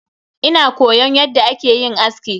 Ina koyon yadda akeyin aski.